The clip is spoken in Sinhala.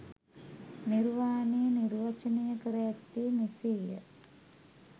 නිර්වානය නිර්වචනය කර ඇත්තේ මෙසේ ය.